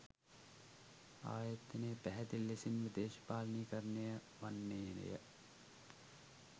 ආයතනය පැහැදිලි ලෙසින්ම දේශපාලනීකරණය වන්නේය.